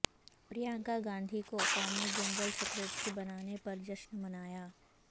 پرینکا گاندھی کو قومی general secretary بنانے پر جشن منایا